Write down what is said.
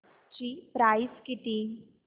ची प्राइस किती